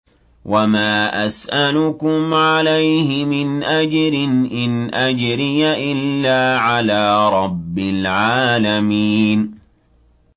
وَمَا أَسْأَلُكُمْ عَلَيْهِ مِنْ أَجْرٍ ۖ إِنْ أَجْرِيَ إِلَّا عَلَىٰ رَبِّ الْعَالَمِينَ